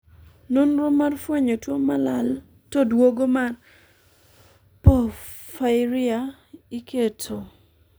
nonro mar fwenyo tuo ma lal to duogo mar porphyria iketo